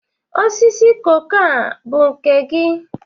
Osisi koko a bu nke gi?